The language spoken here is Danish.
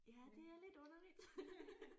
Ja det er lidt underligt